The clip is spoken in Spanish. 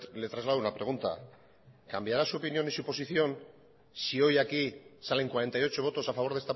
le traslado una pregunta cambiará su opinión y su posición si hoy aquí salen cuarenta y ocho votos a favor